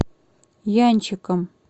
янчиком